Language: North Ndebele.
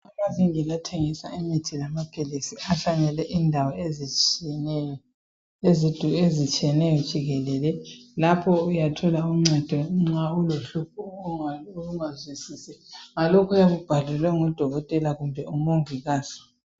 Amavingili athengisa imithi lamaphilisi ahlanyelwe indawo ezitshiyeneyo jikelele lapho uyathola uncedo nxa ulohlupho ungazwisisi ngalokho oyabe ubhalelwe ngudokotela kumbe umongikazi